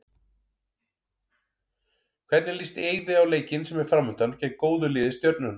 Hvernig líst Eiði á leikinn sem er framundan, gegn góðu lið Stjörnunnar?